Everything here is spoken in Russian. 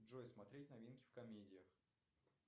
джой смотреть новинки в комедиях